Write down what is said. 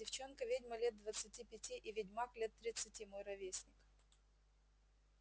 девчонка-ведьма лет двадцати пяти и ведьмак лет тридцати мой ровесник